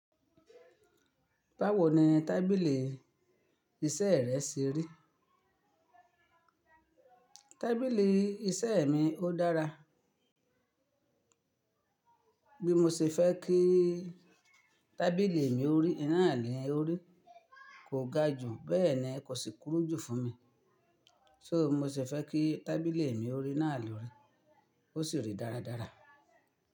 Báwo ni tábìlì iṣẹ́ rẹ ṣe rí? Tábilì iṣẹ́ mi ó dára. Bí mo ṣe fẹ́ kí tábìlì mi ó rí, náà ni ó rí. Kò ga jù, bẹ́ẹ̀ ni kò sì kúrú jù fún mi. So mo ṣe fẹ́ kí tábìlì mi ó rí náà ló rí. Ó sì rí dáradára.